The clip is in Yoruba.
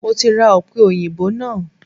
Mo ti ra ọ̀pẹòyìnbó náà